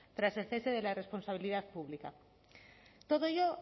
tras el cese de la responsabilidad pública todo ello